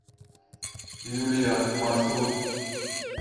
юлия маршрут